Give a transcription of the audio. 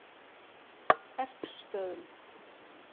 Erpsstöðum